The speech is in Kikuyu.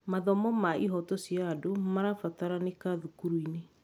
Mathomo ma ihooto cia andũ marabataranĩka thukuru-inĩ.